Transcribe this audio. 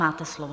Máte slovo.